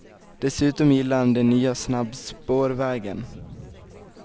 Dessutom gillar han den nya snabbspårvägen.